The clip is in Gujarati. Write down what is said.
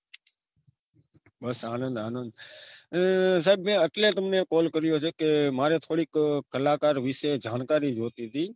અરે સાહેબ મેં તમે એટલે તમને call કર્યો છે કે મારે થોડીક કલાકાર વિશે જાણકારી જોતી હતી